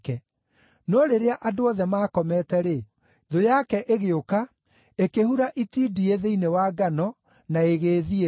No rĩrĩa andũ othe maakomete-rĩ, thũ yake ĩgĩũka, ĩkĩhura itindiĩ thĩinĩ wa ngano, na ĩgĩĩthiĩra.